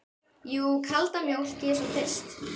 Jú, kalda mjólk, ég er svo þyrst.